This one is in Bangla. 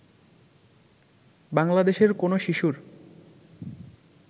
বাংলাদেশের কোন শিশুর